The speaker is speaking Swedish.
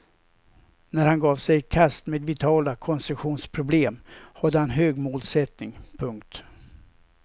När han gav sig i kast med vitala konstruktionsproblem hade han hög målsättning. punkt